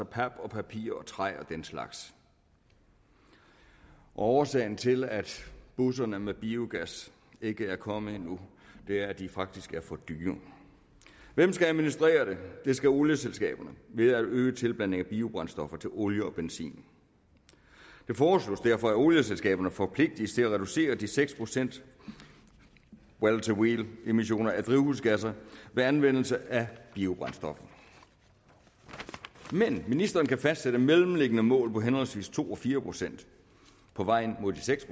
pap og papir og træ og den slags og årsagen til at busserne med biogas ikke er kommet nu er at de faktisk er for dyre hvem skal administrere det det skal olieselskaberne ved at øge tilblanding af biobrændstoffer til olie og benzin det foreslås derfor at olieselskaberne forpligtes til at reducere de seks procent well to wheel emmissioner af drivhusgasser ved anvendelse af biobrændstoffer men ministeren kan fastsætte mellemliggende mål på henholdsvis to og fire procent på vej mod de seks